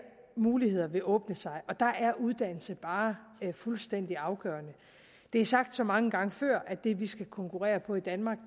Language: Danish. muligheder vil åbne sig og der er uddannelse bare fuldstændig afgørende det er sagt så mange gange før at det vi skal konkurrere på i danmark